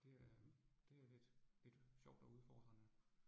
Det er det er lidt lidt sjovt og udfordrende